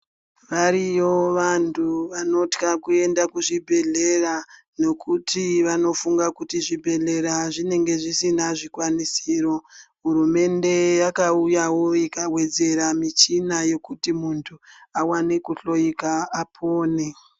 Variyo vantu vanotya kuenda kuzvibhehlera nokuti vanofunga kuti zvibhehlera zvinenge zvisina zvikwanisiro. Hurumemnde yakauyawo ikawedzera michina yekuti muntu awane kuhloyika, apone.